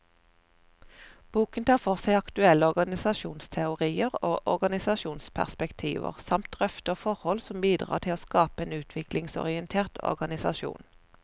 Boken tar for seg aktuelle organisasjonsteorier og organisasjonsperspektiver, samt drøfter forhold som bidrar til å skape en utviklingsorientert organisasjon.